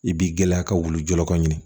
I b'i gɛlɛya ka wulu jɔyɔrɔ ɲini